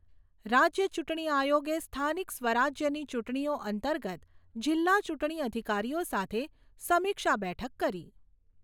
રાજ્ય ચૂંટણી આયોગે સ્થાનિક સ્વરાજ્યની ચૂંટણીઓ અંતર્ગત જિલ્લા ચૂંટણી અધિકારીઓ સાથે સમીક્ષા બેઠક કરી.